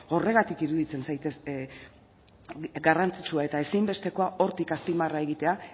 horregatik iruditzen zait garrantzitsua eta ezinbestekoa hortik azpimarra egitea